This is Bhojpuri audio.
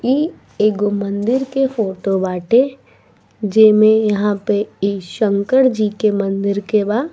ई एगो मंदिर के फोटो बाटे जेमे इहाँ पे ई शंकर जी के मंदिर के बा।